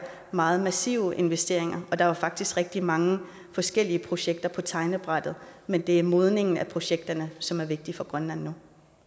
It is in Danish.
meget massive investeringer der er faktisk rigtig mange forskellige projekter på tegnebrættet men det er modningen af projekterne som er vigtig for grønland nu